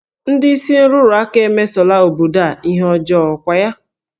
Ndị isi nrụrụ aka emesola obodo a ihe ọjọọ, ọ kwa ya?